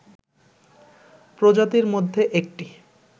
প্রজাতির মধ্যে একটি